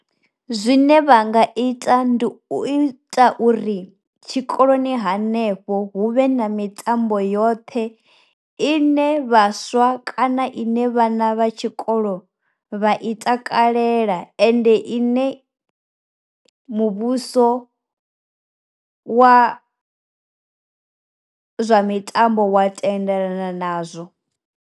Zwine vha nga ita ndi u ita uri tshikoloni hanefho hu vhe na mitambo yoṱhe ine vhaswa kana ine vhana vha tshikolo vha i takalela ende ine muvhuso wa zwa mitambo wa tendelana nazwo.